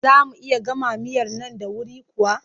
Za mu iya gama miyar nan da wuri kuwa?